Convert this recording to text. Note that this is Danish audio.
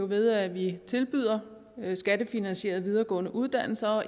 ved at vi tilbyder skattefinansierede videregående uddannelser og